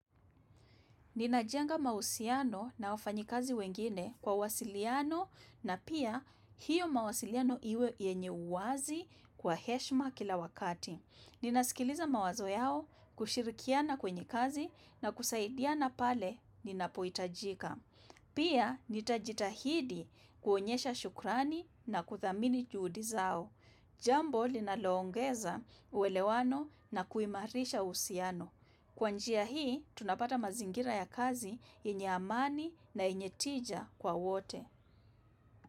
Ninajenga mahusiano na wafanyakazi wengine kwa wasiliano na pia hiyo mawasiliano iwe yenye uwazi kwa heshima kila wakati. Ninasikiliza mawazo yao kushirikiana kwenye kazi na kusaidiana pale ninapoitajika. Pia nitajitahidi kuonyesha shukrani na kudhamini juhudi zao. Jambo linaloongeza uelewano na kuimarisha uhusiano. Kwa njia hii, tunapata mazingira ya kazi yenye amani na yenye tija kwa wote.